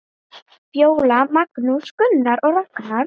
Fjóla, Magnús, Gunnar og Ragnar.